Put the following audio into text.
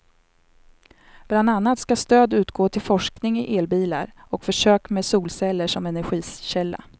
Bland annat ska stöd utgå till forskning i elbilar och försök med solceller som energikälla.